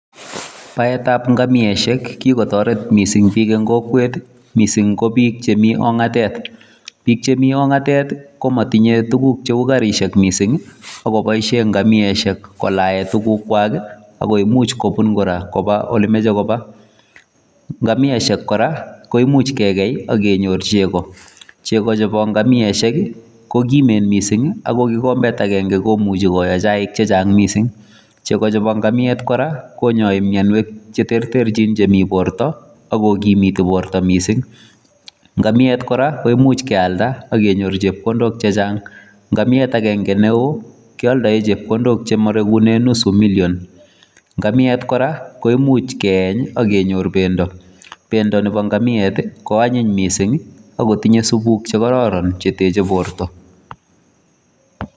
Baetab ngamiosiek kikotoret missing bik en kokwet i.Missing ko biik chemi ong'atet. Biik chemi ong'atet komotinye tuguk cheu garisiek missing ako boishien ngamiesiek kolaen tuguukchwak. Oko imuch kubun koba olemoche kobaa. Ngamiesiek kora koimuch kegei ak kenyoor chegoo, chegoo chebo ngamiesiek ko kimen missing ako kikombeet agenge komuchi koyoo chaik chechang missing. Chegoo chebo ng'amiet kora konyoi mionwogiik cheterterchin chemi bortoo ak kogimiti bortoo missing.Ng'amiet kora koimuch kealda ak kenyoor chepkondook chechang ,ngamiet agenge newoo kioldoen chepkondook chemoregunen nusu million. Ngamiet kora koimuch keeny ak kenyoor bendoo, bendoo Nebo ngamiet koanyiny missing ak kotinyee supuuk chekororon cheteche bortoo.